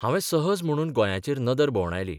हावें सहज म्हणून गोंयांचेर नदर भोवंडायली.